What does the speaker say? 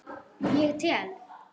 Ég tel.